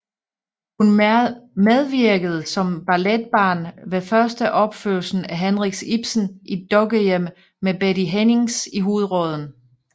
Hun medvirkede som balletbarn ved førsteopførelsen af Henrik Ibsens Et Dukkehjem med Betty Hennings i hovedrollen